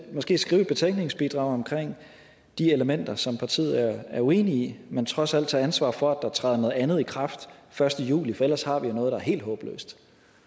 måske skrive et betænkningsbidrag om de elementer som partiet er uenige i men trods alt tage ansvar for at der træder noget andet i kraft første juli for ellers har vi jo noget der er helt håbløst